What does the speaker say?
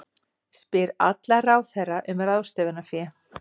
Spyr alla ráðherra um ráðstöfunarfé